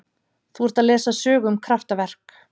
Þú ert að lesa sögu um kraftaverk.